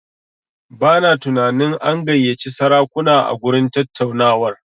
Bana tunanin an gayyaci sarakuna a gurin tattaunawar.